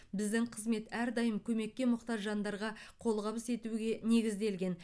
біздің қызмет әрдайым көмекке мұқтаж жандарға қолғабыс етуге негізделген